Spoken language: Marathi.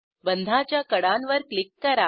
बंधाच्या कडांवर क्लिक करा